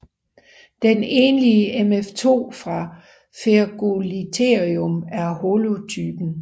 Den enlige mf2 fra Ferugliotherium er holotypen